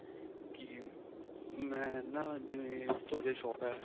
ਕੀ ਮੈਂ ਨਾ ਜਿਵੇਂ ਤੁਹਾਡੇ shop ਏ